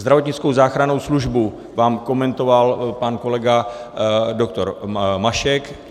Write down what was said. Zdravotnickou záchrannou službu vám komentoval pan kolega doktor Mašek.